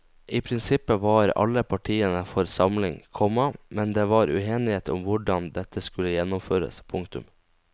I prinsippet var alle partiene for samling, komma men det var uenighet om hvordan dette skulle gjennomføres. punktum